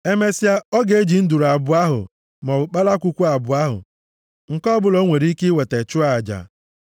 Emesịa, ọ ga-eji nduru abụọ ahụ maọbụ kpalakwukwu abụọ ahụ, nke ọbụla o nwere ike iweta, chụọ aja.